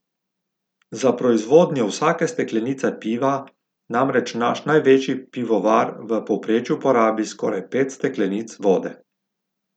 Za proizvodnjo vsake steklenice piva namreč naš največji pivovar v povprečju porabi skoraj pet steklenic vode.